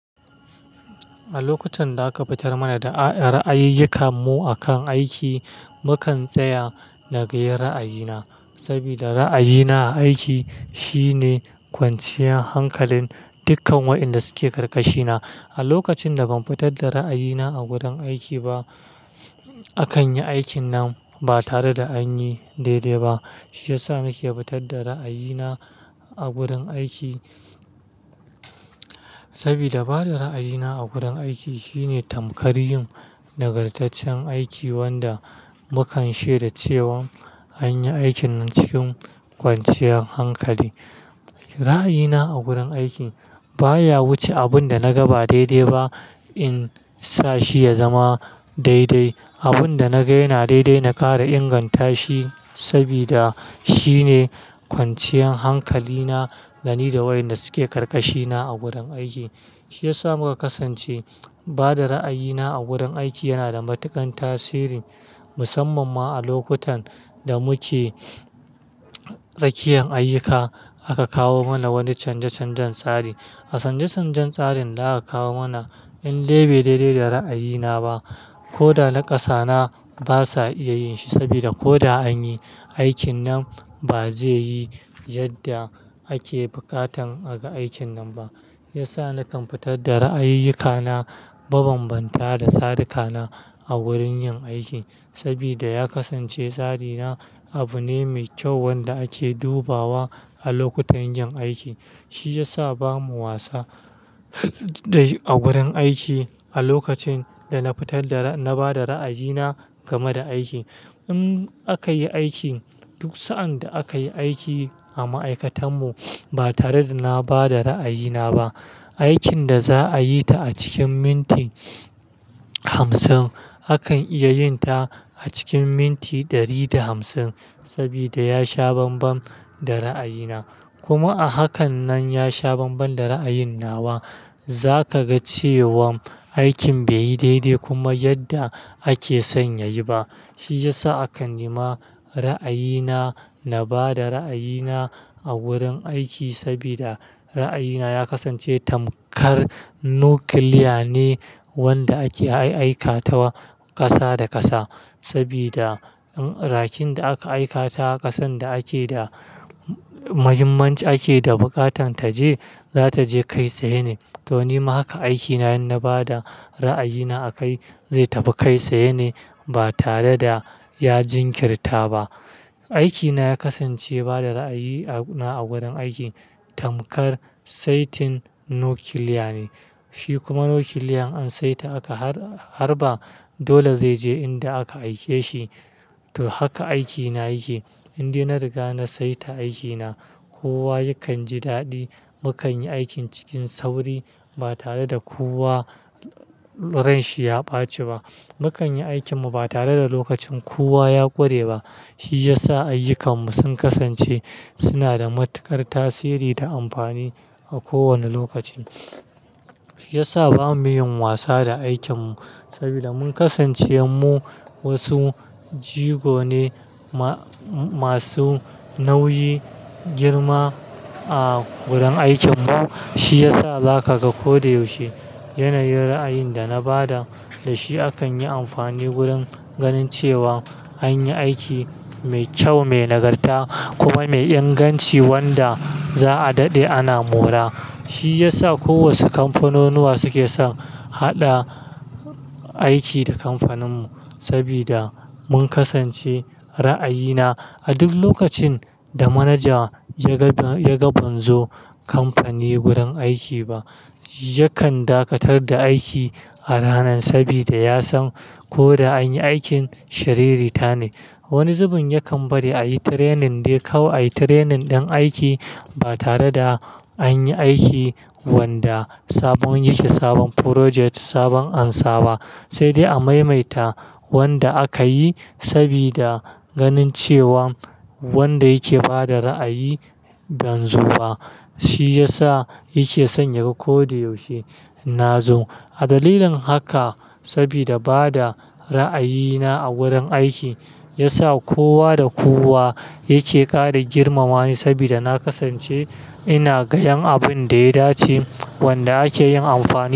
A lokutan da aka fitar mana da ra'ayiyikan mu akan aiki, mukan tsaya nagayyar ra'ayina, sabida ra'ayina aiki shine kwanciyar hankalin dukkan wa'inda suke karkashina. A lokacin da ban fitar da ra'ayina a gurin aiki ba, akan yi aikin nan ba tare da an yi daidai ba. Shi ya sa nake fitar da ra'ayina a gurin aiki, sabida bada ra'ayina a gurin aiki shine tamkar yin nagartaccen aiki wanda mukan shaidan cewan an yi aikin nan cikin kwanciyar hankali. Ra'ayina a gurin aiki baya wuce abin da na ga ba daidai ba in sa shi ya zama daidai. Abin da na ga yana daidai na ƙara inganta shi sabida shine kwanciyar hankalina da ni da wayanda suke karkashina a gurin aiki. Shi ya sa muka kasance bada ra'ayina a gurin aiki yana da matuƙan tasiri, musamman ma a lokutan da muke tsakiyan ayyuka aka kawo mana wani canje-canjen tsari. A canje-canjen tsarin da aka kawo mana in dai bai daidai da ra'ayina ba, ko da naƙasa na basa iya yin shi sabida ko da an yi, aikin nan ba zai yi yadda ake buƙatan aga aikin nan ba. Ya sa nakan fitar da ra'ayiyikana, ban bambanta da sadikana a wurin yin aiki sabida ya kasance tsarina abu ne mai kyau wanda ake dubawa a lokutan yin aiki. Shi ya sa bamu wasa a gurin aiki a lokacin da na fitar da-- na bada ra'ayina game da aiki. In aka yi aiki, duk sa'an da aka yi aiki a ma'aikatan mu ba tare da na bada ra'ayina ba, aikin da za'a yi ta a cikin minti hamsin, akan iya yin ta a cikin minti ɗari da hamsin sabida ya sha bambam da ra'ayina. Kuma a hakan nan ya sha bambam da ra'ayin nawa, za ka ga cewan aikin bai yi daidai kuma yadda ake sanya yi ba. Shi ya sa akan nima ra'ayina, na bada ra'ayina a wurin aiki sabida ra'ayina ya kasance tamkar nuclear ne wanda ake ai-aikatawa ƙasa da ƙasa sabida in rakinda aka aikata ƙasan da ake da-- muhimmanci ake da buƙatan ta je, za ta je kai tsaye ne. To nima haka aikina in na bada ra'ayina a kai, zai tafi kai tsaye ne ba tare da ya jinkirta ba. Aikina ya kasance bada ra'ayi a gurin aiki tamkar saitin nuclear ne. Shi kuma nuclear in an saita aka harba, dole zai je inda aka aike shi. To haka aikina yake, inda na riga na saita aikina, kowa yakan ji daɗi. Mukan yi aikin cikin sauri ba tare da kowa ranshi ya ɓaci ba. Mukan yi aikin mu ba tare da lokacin kowa ya ƙure ba. Shi ya sa ayyukan mu sun kasance suna da matuƙar tasiri da amfani a kowane lokacin. Shi ya sa bamu yin wasa da aikin mu sabida mun kasance mu wasu jigo ne ma-masu nauyi, girma a gurin aikin mu. Shi ya sa zaka ga ko da yaushe yanayin ra'ayin da na bada da shi akan yi amfani wurin ganin cewa an yi aiki mai kyau, mai nagarta kuma mai inganci wanda za'a daɗe ana mora. Shi ya sa kowace kamfanunuwa suke son haɗa aiki da kamfanin mu sabida mun kasance ra'ayina a duk lokacin da manaja ya ga, ya ga banzo kamfani gurin aiki ba, yakan dakatar da aiki a ranan sabida ya san ko da an yi aikin shiririta ne. Wani zubin yakan bari ayi training dai kawai training ɗin aiki ba tare da an yi aiki wanda sabon yake, sabon project, sabon ansa ba sai dai a maimaita wanda aka yi sabida ganin cewa wanda yake bada ra'ayi banzo ba. Shi ya sa yake san yaga ko da yaushe na zo. A dalilin haka sabida bada ra'ayina a wurin aiki ya sa kowa da kowa yake ƙara girmama ni sabida na kasance ina ganin abin da ya dace wanda ake yin amfani.